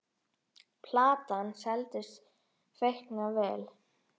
Platan seldist feikna vel.